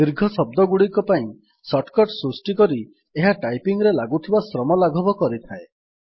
ଦୀର୍ଘ ଶବ୍ଦଗୁଡିକ ପାଇଁ ଶର୍ଟକର୍ଟ ସୃଷ୍ଟି କରି ଏହା ଟାଇପିଙ୍ଗ୍ ରେ ଲାଗୁଥିବା ଶ୍ରମ ଲାଘବ କରିଥାଏ